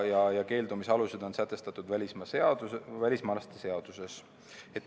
Keeldumise alused on sätestatud välismaalaste seaduses.